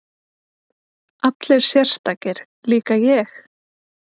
Allir sérstakir, líka ég?